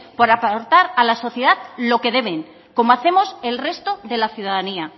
por aportar a la sociedad lo que deben como hacemos el resto de la ciudadanía